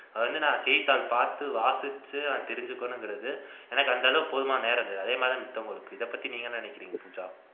அதாவது செய்தித்தாள் பார்த்து வாசிச்சு தெரிஞ்சுக்கனுங்கிறது எனக்கு அந்த அளவுக்கு போதுமான நேரம் கிடையாது அதே மாதிரிதான் இதப்பத்தி நீங்க என்ன நினைக்கிறீங்க பூஜா